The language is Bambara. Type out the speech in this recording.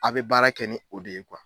A bɛ baara kɛ ni o de ye